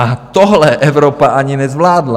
A tohle Evropa ani nezvládla.